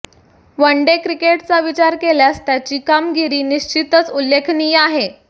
one day क्रिकेटचा विचार केल्यास त्याची कामगिरी निश्चितच उल्लेखनीय आहे